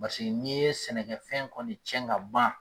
Paseke n'i ye sɛnɛkɛfɛn kɔni cɛn ka ban!